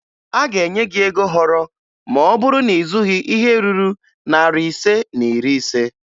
A ga-enye gị ego họrọ ma ọ bụrụ na ị zụghị ihe ruru narị ise na iri ise